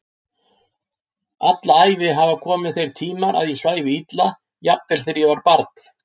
Alla æfi hafa komið þeir tímar að ég svæfi illa, jafnvel þegar ég var barn.